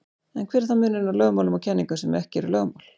En hver er þá munurinn á lögmálum og kenningum sem ekki eru lögmál?